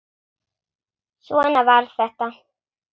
Svona var þetta.